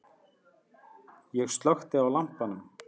Ég slökkti á lampanum.